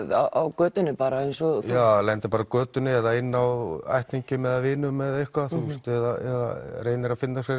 á götunni bara eins og já það lendir bara á götunni eða inni á ættingjum eða vinum eða eitthvað eða reynir að finna sér